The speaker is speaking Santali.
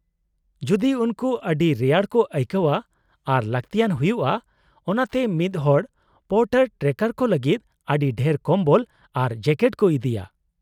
-ᱡᱩᱫᱤ ᱩᱱᱠᱩ ᱟᱹᱰᱤ ᱨᱮᱭᱟᱲ ᱠᱚ ᱟᱹᱭᱠᱟᱹᱣᱼᱟ ᱟᱨ ᱞᱟᱹᱠᱛᱤᱭᱟᱱ ᱦᱩᱭᱩᱜᱼᱟ ᱚᱱᱟᱛᱮ ᱢᱤᱫ ᱦᱚᱲ ᱯᱳᱨᱴᱟᱨ ᱴᱨᱮᱠᱟᱨ ᱠᱚ ᱞᱟᱹᱜᱤᱫ ᱟᱹᱰᱤ ᱰᱷᱮᱨ ᱠᱚᱢᱵᱚᱞ ᱟᱨ ᱡᱮᱠᱮᱴ ᱠᱚ ᱤᱫᱤᱭᱟ ᱾